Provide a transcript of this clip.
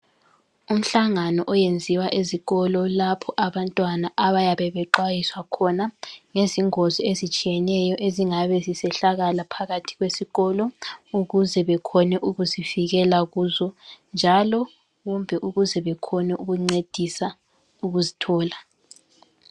Umhlangano oyenziwa ezikolo lapho abantwana abayabe bexhwayiswa khona ngezingozi ezitshiyeneyo ezingabe zisehlakala phakathi kwesikolo ukuze bekhone ukuzivikela kuzo njalo kumbe ukuze bakhone ukuncedisa ukuzithola.